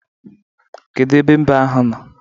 Kedu ebe mbe ahụ nọ?